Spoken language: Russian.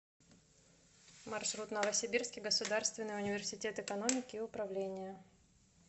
маршрут новосибирский государственный университет экономики и управления